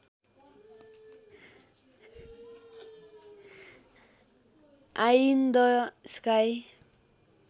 I in the sky